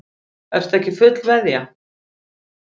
Ertu ekki fullveðja?